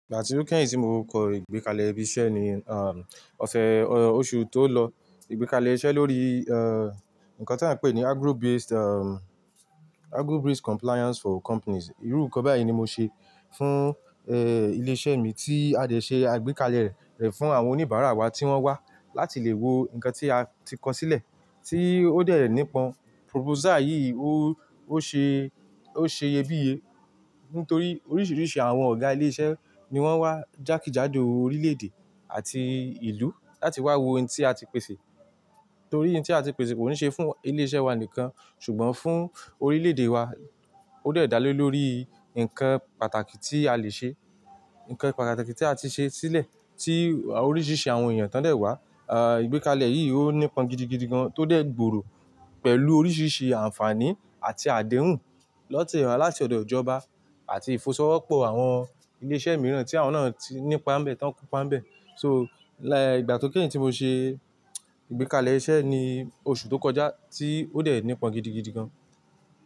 Ìgbà tí ó kẹ́yìn tí mo kọ ìgbékalẹ̀ ibi iṣẹ́ ni, um, ọ̀ṣẹ̀ oṣù tó lọ. Ìgbékalẹ̀ iṣẹ́ lórí, eeh, nǹkan tí a ń pè ní agro based, um, agro based compliance for companies. Irú nǹkan báyìí ni mo ṣe fún, ee, ilé iṣẹ́ mi tí a dẹ̀ ṣe àgbékalẹ̀ rẹ̀ fún àwọn oníbàárà wa tí wọ́n wá láti lè wo nǹkan tí a ti kọ sílẹ̀ tí ó dẹ̀ nípọ́n. Proposal yìí ó, ó ṣe, ó ṣe iyebíye nítorí oríṣiríṣi àwọn ọ̀gá ilé iṣẹ́ ni wọ́n wá jákèjádò orílẹ̀ èdè àti ìlú láti wá wo ohun tí a ti pèsè. Nítorí ohun tí a ti pèsè kò ní ṣe fún ilé iṣẹ́ wa nìkan ṣùgbọ́n fún orílẹ̀ èdè wa. Ó dẹ̀ dá lé lórí nǹkan pàtàkì tí a lè ṣe, nǹkan pàtàkì tí a ti ṣe sílẹ̀ tí oríṣiríṣi àwọn èèyàn tán dẹ̀ wá. Ah, ìgbékalẹ̀ yìí ó nípọ́n gidigidi gan tọ dẹ̀ gbòòrò pẹ̀lú oríṣiríṣi ànfààní àti àdéhùn lọ́tẹ̀ ara láti ọ̀dọ̀ ìjọba àti ìfọwọ́sowọ́pọ̀ àwọn ilé iṣẹ́ mìíràn tí àwọn náà ti ní ipá ńbẹ̀, tán kopá ńbẹ̀. So, lẹ́ ìgbà tí ó kẹ́yìn tí mo ṣe ìgbékalẹ̀ iṣẹ́ ni oṣù tó kọjá tí ó dẹ̀ nípọ́n gidigidi gan.